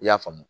I y'a faamu